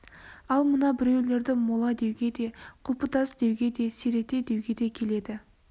ал мына біреулерді мола деуге де құлпытас деуге де серете деуге де келеді